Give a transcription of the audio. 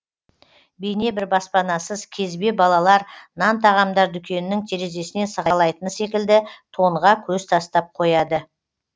бейне бір баспанасыз кезбе балалар нан тағамдар дүкенінің терезесінен сығалайтыны секілді тонға көз тастап қояды